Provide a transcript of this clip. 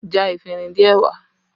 Já efinrin díẹ̀ wá!